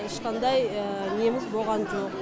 ешқандай неміз болған жоқ